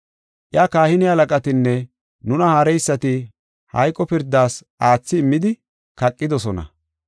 Iya kahine halaqatinne haareysati hayqo pirdas aathi immidi, kaqidosona.